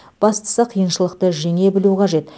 бастысы қиыншылықты жеңе білу қажет